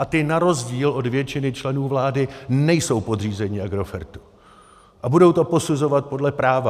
A ti na rozdíl od většiny členů vlády nejsou podřízeni Agrofertu a budou to posuzovat podle práva.